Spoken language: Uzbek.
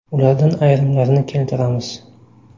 Ulardan ayrimlarini keltiramiz.